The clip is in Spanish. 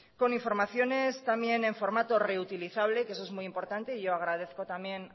con informaciones también en formato reutilizable que eso es muy importante y yo agradezco también